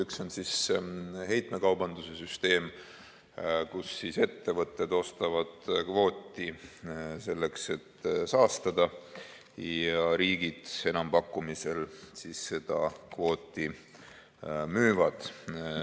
Üks on heitmekaubanduse süsteem, kus ettevõtted ostavad kvooti, selleks et saastada, ja riigid enampakkumisel seda kvooti müüvad.